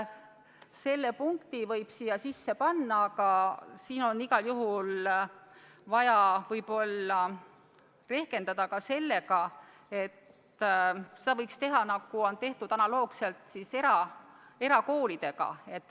Selle punkti võib siia sisse panna, aga igal juhul on vaja võib-olla arvestada ka sellega, et seda võiks teha analoogselt, nagu on tehtud erakoolidega.